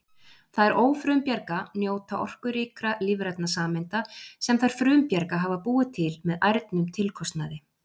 Þær ófrumbjarga njóta orkuríkra lífrænna sameinda sem þær frumbjarga hafa búið til með ærnum tilkostnaði!